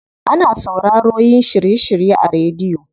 Ana sauraroyin shiry shirye a rediyo.